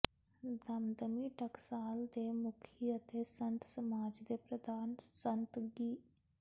ਦਮਦਮੀ ਟਕਸਾਲ ਦੇ ਮੁਖੀ ਅਤੇ ਸੰਤ ਸਮਾਜ ਦੇ ਪ੍ਰਧਾਨ ਸੰਤ ਗਿ